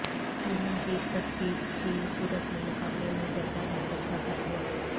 نظام کی ترتیب کی صورت میں مقابلے میں زیادہ بہتر ثابت ہوا